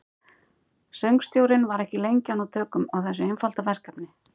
Söngstjórinn var ekki lengi að ná tökum á þessu einfalda verkefni.